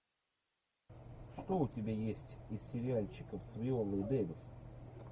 что у тебя есть из сериальчиков с виолой дэвис